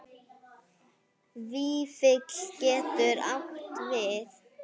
Vífill getur átt við